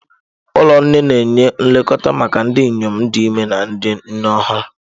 Ụlọ nne na-enye nlekọta maka ndị inyom dị ime na ndị nne ọhụrụ.